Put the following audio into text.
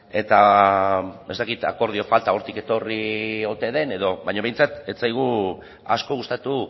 eta ez dakit akordio falta hortik etorri ote den edo baina behintzat ez zaigu asko gustatu